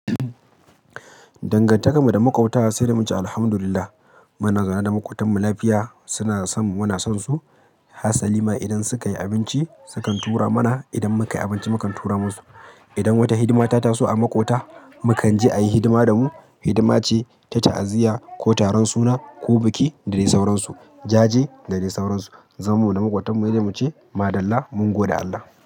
Dangantakar mu da makwata sai da mu ce Alhamdulillah. Muna zaune da maƙotan mu lafiya. Suna son mu, muna son su. Hasaliman idan suka yi abinci, su kan tura mana. Idan muka yi abinci, mu kan tura masu. Idan wata hidima ta taso a maƙota, mu kan je ayi hidima da mu. Hidima ce ta ta'aziyya ko taron suna ko biki da dai sauransu. Jaje da dai sauransu. Zamanmu da maƙotanmu, sai dai mu ce madallah mun gode Allah.